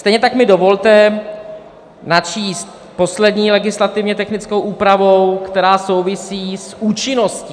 Stejně tak mi dovolte načíst poslední legislativně technickou úpravu, která souvisí s účinností.